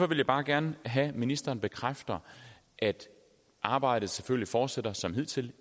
vil jeg bare gerne have at ministeren bekræfter at arbejdet selvfølgelig fortsætter som hidtil